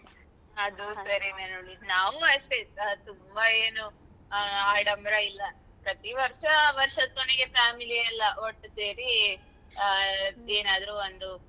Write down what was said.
ಅದೂ ಸರಿನೆ ನಾವು ಅಷ್ಟೇ ತುಂಬಾ ಏನು ಆಡಂಭರ ಇಲ್ಲ ಪ್ರತೀ ವರ್ಷ ವರ್ಷದ ಕೊನೆಗೆ family ಎಲ್ಲ ಒಟ್ಟು ಸೇರಿ ಏನಾದ್ರು ಒಂದು